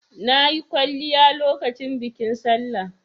Na yi kwalliya lokacin bikin Sallah.